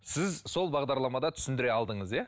сіз сол бағдарламада түсіндіре алдыңыз иә